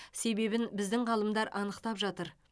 себебін біздің ғалымдар анықтап жатыр